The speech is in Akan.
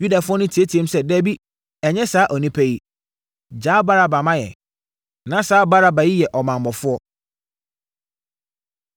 Yudafoɔ no teateaam sɛ, “Dabi! Ɛnyɛ saa onipa yi. Gyaa Baraba ma yɛn!” Na saa Baraba yi yɛ ɔmammɔfoɔ.